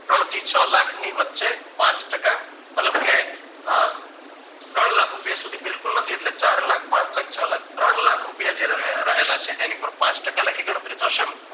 ત્રણથી છ લાખ ની વચ્ચે પાંચ ટકા મતલબ કે ત્રણ લાખ રૂપિયા સુધી બિલકુલ નથી એટલે ચાર લાખ પાંચલાખ છલાખ ત્રણલાખ રૂપિયા જે રહેલા છે એની પર પાંચ ટકા લેખે ગણતરી થશે